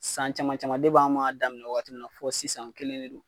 San caman caman an b'a daminɛ waati min na fɔ sisan n kelen de don.